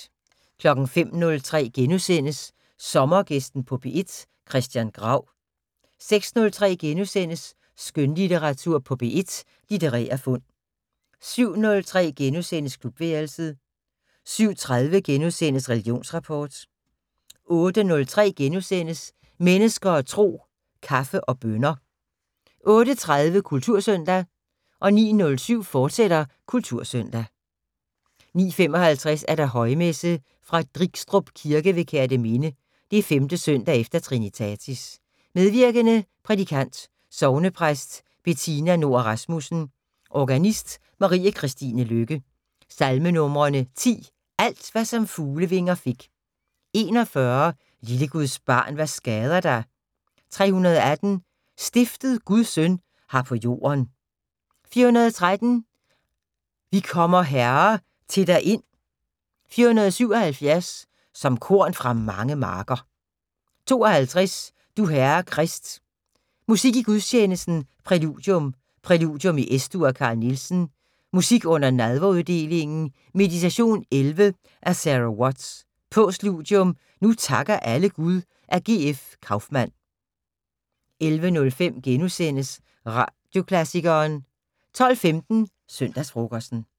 05:03: Sommergæsten på P1: Christian Grau * 06:03: Skønlitteratur på P1: Litterære fund * 07:03: Klubværelset * 07:30: Religionsrapport * 08:03: Mennesker og Tro: Kaffe og bønner * 08:30: Kultursøndag 09:07: Kultursøndag, fortsat 09:55: Højmesse - Fra Drigstrup kirke ved Kerteminde. 5. søndag efter trinitatis. Medvirkende: Prædikant: Sognepræst Betina Noer Rasmussen. Organist: Marie Kristine Løkke. Salmenumre: 10: "Alt hvad som fuglevinger fik". 41: " Lille Guds barn hvad skader dig". 318: " Stiftet Guds søn har på jorden". 413: " Vi kommer Herre til dig ind". 477: "Som korn fra mange marker". 52: " Du Herre Krist". Musik i gudstjenesten: Præludium: "Præludium i Es-dur" af Carl Nielsen. Musik under nadveruddelingen: "Meditation 11" af Sarah Watts. Postludium: ""Nu takker alle Gud" af G.F. Kauffmann. 11:05: Radioklassikeren * 12:15: Søndagsfrokosten